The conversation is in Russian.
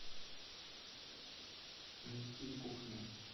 найти кухня